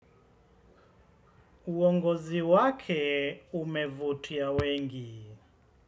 Uongozi wake umevutia wengi.